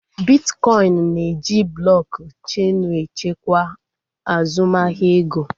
Bitkọin na-eji blọk cheenu echekwa azụmahịa ego